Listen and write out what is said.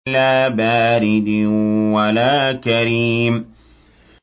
لَّا بَارِدٍ وَلَا كَرِيمٍ